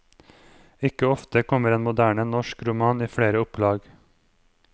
Ikke ofte kommer en moderne norsk roman i flere opplag.